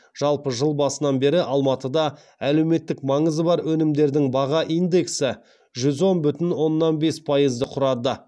жалпы жыл басынан бері алматыда әлеуметтік маңызы бар өнімдердің баға индексі жүз он бүтін оннан бес пайызды құрады